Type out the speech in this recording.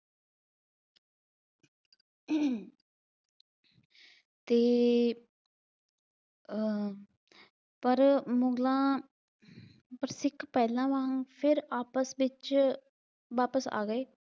ਤੇ ਅਹ ਪਰ ਮੁਗ਼ਲਾਂ, ਪਰ ਸਿੱਖ ਪਹਿਲਾਂ ਵਾਂਗ ਫਿਰ ਆਪਸ ਵਿੱਚ ਵਾਪਿਸ ਆ ਗਏ।